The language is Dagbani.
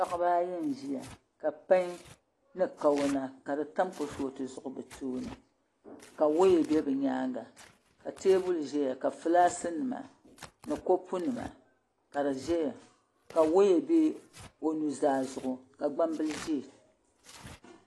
Paɣiba ayi n-ʒiya ka pan ni Kawana ka di tam kurufootu zuɣu be tooni ka waya be bɛ nyaaŋa ka teebuli zaya ka fulaakinima ni kɔpunima ka di ʒiya ka waya be o nuzaa zuɣu ka gbambili ʒiya